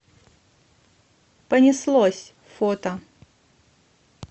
понеслось фото